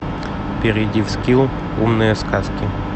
перейди в скилл умные сказки